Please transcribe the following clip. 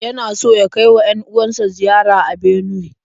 Yana so ya kai wa 'yan-uwan sa ziyara a Benuwe.